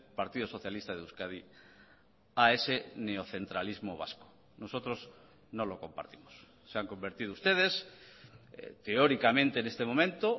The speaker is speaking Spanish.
partido socialista de euskadi a ese neocentralismo vasco nosotros no lo compartimos se han convertido ustedes teóricamente en este momento